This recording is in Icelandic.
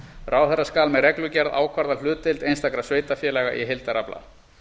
ráðherra skal með reglugerð ákvarða hlutdeild einstakra sveitarfélaga í heildarafla